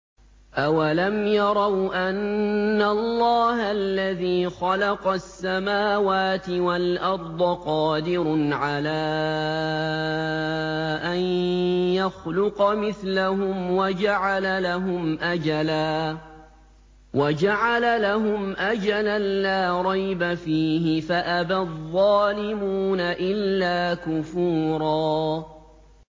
۞ أَوَلَمْ يَرَوْا أَنَّ اللَّهَ الَّذِي خَلَقَ السَّمَاوَاتِ وَالْأَرْضَ قَادِرٌ عَلَىٰ أَن يَخْلُقَ مِثْلَهُمْ وَجَعَلَ لَهُمْ أَجَلًا لَّا رَيْبَ فِيهِ فَأَبَى الظَّالِمُونَ إِلَّا كُفُورًا